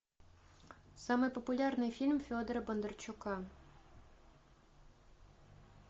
самый популярный фильм федора бондарчука